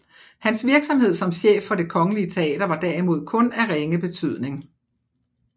Hans virksomhed som chef for Det Kongelige Teater var derimod kun af ringe betydning